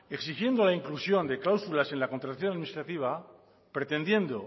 exigiendo la inclusión de cláusulas en la contratación administrativa pretendiendo